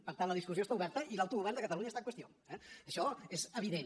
per tant la discussió està oberta i l’autogovern de catalunya està en qüestió eh això és evident